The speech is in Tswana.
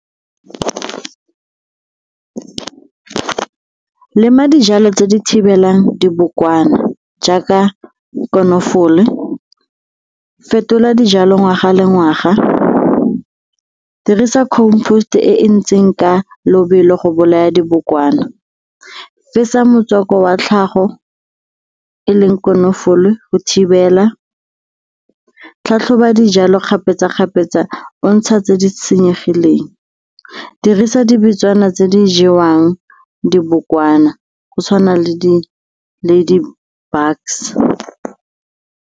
Lema dijalo tse di thibelang dibokwana jaaka konofole, fetola dijalo ngwaga le ngwaga, dirisa compost-e e e ntseng ka lobelo go bolaya dibokwana. Fetsa motswako wa tlhago e leng konofolo go thibela, tlhatlhoba dijalo kgapetsa-kgapetsa o ntsha tse di senyegileng, dirisa di bitswana tse di jewang dibokwana go tshwana le di-bugs.